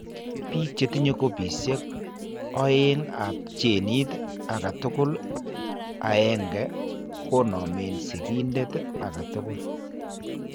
Biik chetinye kopisiek oeng' ab genit agetugul aeng'e konomeen sikindet agetugul